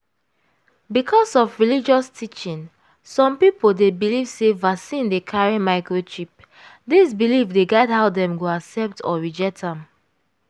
because of religious teaching some people dey believe sey vaccine dey carry microchip. this belief the guide how dem go accept or reject am